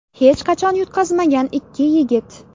Hech qachon yutqazmagan ikki yigit.